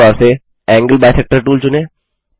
tool bar से angle bisector tool चुनें